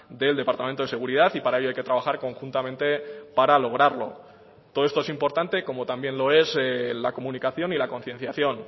del departamento de seguridad y para ello hay que trabajar conjuntamente para lograrlo todo esto es importante como también lo es la comunicación y la concienciación